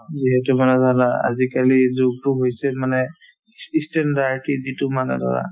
যিহেতু মানে ধৰা আজিকালিৰ যুগতো হৈছে মানে যিটো মানে ধৰা